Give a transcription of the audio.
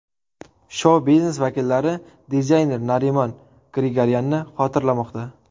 Shou-biznes vakillari dizayner Narimon Grigoryanni xotirlamoqda.